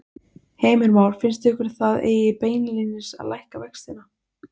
Heimir Már: Finnst ykkur að það eigi beinlínis að lækka vextina?